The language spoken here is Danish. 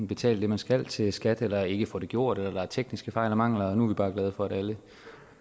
betale det man skal til skat eller ikke får det gjort eller er tekniske fejl og mangler nu er vi bare glade for at alle